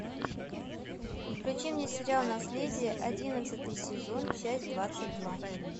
включи мне сериал наследие одиннадцатый сезон часть двадцать два